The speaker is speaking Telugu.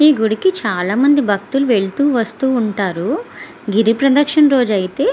ఈ గుడికి చాలా మంది భక్తులు వెళ్తూ వస్తూ ఉంటారు. గిరి ప్రదర్శనం రోజైతే --